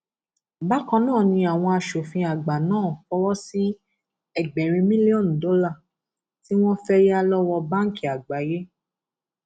bákan náà ni àwọn aṣòfin àgbà náà fọwọ sí ẹgbẹrin mílíọnù dọlà tí wọn fẹẹ yà lọwọ báǹkì àgbáyé